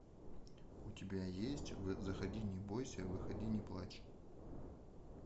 у тебя есть заходи не бойся выходи не плачь